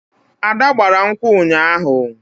Ada gbara nkwu ụnyaahụ